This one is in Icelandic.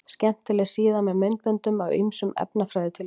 Skemmtileg síða með myndböndum af ýmsum efnafræðitilraunum.